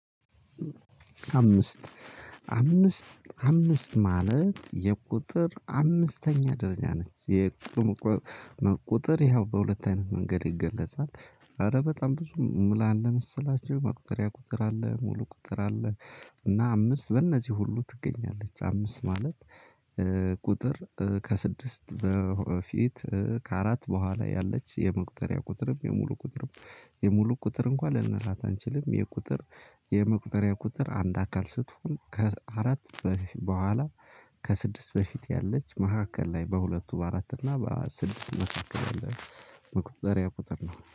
አምስት አምስት አምስት ማለት የቁጥር አምስተኛ ደረጃ ነች። የቁጥር ያው በሁለት አይነት መንገድ ይገለጻል። ኧረ በጣም ብዙ ምን አለ መሰላችሁ መቁጠሪያ ቁጥር አለ ሙሉ ቁጥር አለ። እና አምስት በእነዚህ ሁሉ ትገኛለች። አምስት ማለት ቁጥር ከስድስት በፊት ከአራት በኋላ ያለች የመቁጠሪያ ቁጥርም የሙሉ ቁጥርም የሙሉ ቁጥር እንኳን ልንላት አንችልም። የቁጥር የመቁጠሪያ ቁጥር አንድ አካል ስትሆን ከአራት በኋላ ከስድስት በፊት ያለች መካከል ላይ በሁለቱ በአራት እና በስድስት መካከል ያለ። መቁጠሪያ ቁጥር ነው